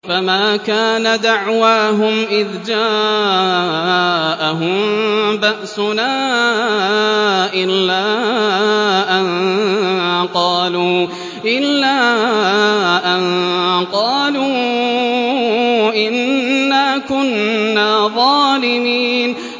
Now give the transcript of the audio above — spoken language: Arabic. فَمَا كَانَ دَعْوَاهُمْ إِذْ جَاءَهُم بَأْسُنَا إِلَّا أَن قَالُوا إِنَّا كُنَّا ظَالِمِينَ